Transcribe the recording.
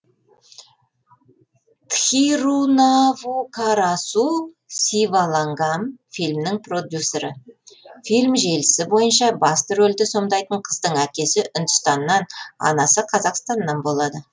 тхирунавукарасу сивалангам фильмнің продюсері фильм желісі бойынша басты рөлді сомдайтын қыздың әкесі үндістаннан анасы қазақстаннан болады